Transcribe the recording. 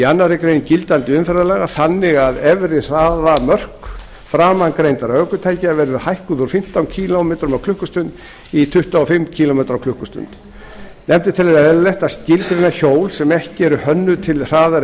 annarri grein gildandi umferðarlaga þannig að efri hraðamörk framangreindra ökutækja verði hækkuð úr fimmtán kílómetrum á klukkustund í tuttugu og fimm kílómetra á klukkustund nefndin telur eðlilegt að skilgreina hjól sem ekki eru hönnuð til hraðari